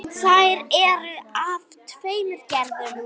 Þær eru af tveimur gerðum.